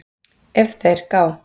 ef þeir gá